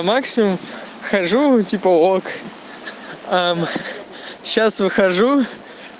максимум хожу типа ок сейчас выхожу